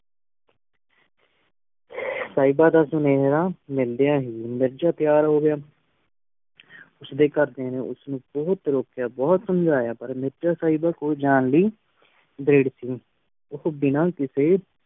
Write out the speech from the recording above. ਸਾਹ੍ਬੇ ਦਾ ਸ਼੍ਨਾਯਾ ਮਿਲਦੀ ਹੀ ਮੇਰ੍ਜ਼ਾ ਤੇਯਾਰ ਹੋ ਗਯਾ ਉਸ ਦੇ ਘਰ ਦਿਆਂ ਨੇ ਉਸ ਨੂ ਬੁਹਤ ਰੁਕਇਆ ਬੁਹਤ ਰੁਕਇਆ ਬੁਹਤ ਸਮਜਯਾ ਪਰ ਮੇਰ੍ਜ਼ਾ ਸੇਬਾ ਕੋਲ ਜਾਨ ਲੈ ਉਸ੍ਨੀ ਬਿਨਾ ਕਿਸੇ